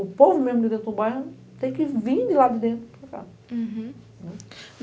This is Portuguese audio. O povo mesmo de dentro do bairro tem que vir de lá de dentro para cá.